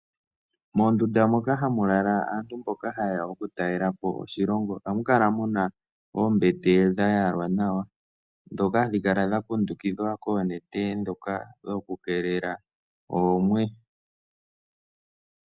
Moondundu moka hamu lala aantu mboka yeya okutalelapo oshilongo oamu kala muna oombete dhayalwa nawa dhakundukithwa koonete dhokukeelela oomwe.